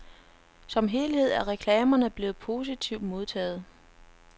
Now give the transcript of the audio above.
Som helhed er reklamerne blevet positivt modtaget.